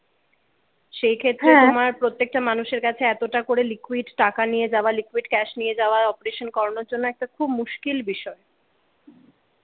সেই ক্ষেত্র হম আমার প্রত্যেকটা মানুষের কাছে এতটা করে লিকুইড টাকা নিয়ে যাওয়া লিকুইড ক্যাশ নিয়ে যাওয়া operation করানোর জন্য একটা খুব মুশকিল বিষয়।